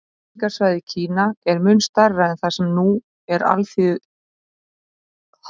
Menningarsvæðið Kína er mun stærra en það sem nú er Alþýðulýðveldið Kína.